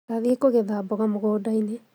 Ndathiĩ kũgetha mboga mũgũndainĩ